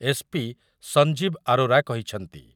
SP. Sanjib Arora କହିଛନ୍ତି ।